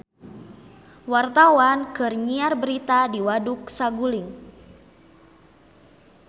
Wartawan keur nyiar berita di Waduk Saguling